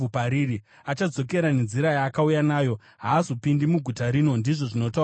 Achadzokera nenzira yaakauya nayo; haazopindi muguta rino,” ndizvo zvinotaura Jehovha.